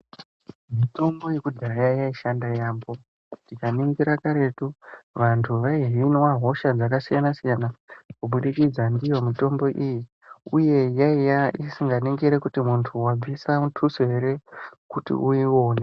Mitombo yekudhaya yaishanda yaambo, tikaningira karetu vanhu vaihinwa hosha dzakasiyana-siyana kubudikidza ndiyo mitombo iyi uye yaiya isinganingiri kuti muntu wabvisa mutuso here kuti uiwone.